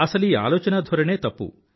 అసలీ ఆలోచనాధోరణే తప్పు